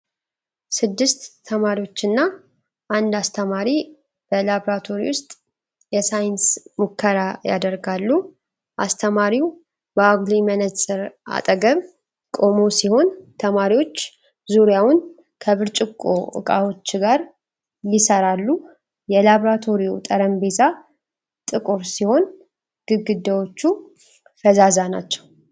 ስድስት ተማሪዎችና አንድ አስተማሪ በብራቶሪ ውስጥ የሳይንስ ሙከራ ያደርጋሉ። አስተማሪው በአጉሊ መነጽር አጠገብ ቆሞ ሲሆን፣ ተማሪዎች ዙሪያውን ከብርጭቆ ዕቃዎች ጋር ይሰራሉ። የላብራቶሪው ጠረጴዛ ጥቁር ሲሆን፣ ግድግዳዎቹ ፈዛዛ ናቸው።